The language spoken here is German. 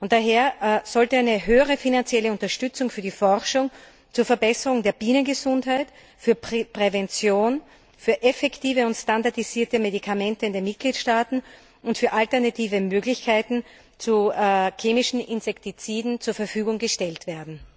Daher sollte eine höhere finanzielle Unterstützung für die Forschung zur Verbesserung der Bienengesundheit, für Prävention, für effektive und standardisierte Medikamente in den Mitgliedstaaten und für alternative Möglichkeiten zu klinischen Insektiziden zur Verfügung gestellt werden.